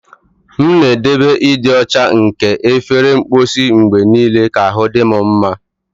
M na-edobe ịdị ọcha nke efere mposi mgbe niile ka ahụ dị m mma.